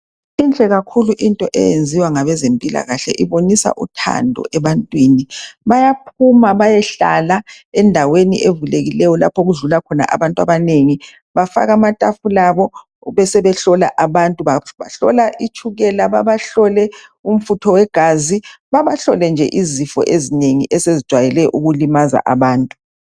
Inhle kakhulu into eyenziwa ngabezempilakahle itshengisa uthando ebantwini bayaphima bayehlala endaweni evulekileyo lapha okudlula khona abantu abanengi bafaka amatafula abo bebesebehlola amantu, bahlola abantu itshukela bebesebeba hlola imfutho wegazi babahlole izifo eziningi esezijayele ukulimaza abantu